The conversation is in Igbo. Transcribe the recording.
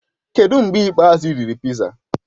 Kedụ mgbe ikpeazụ ị riri piza?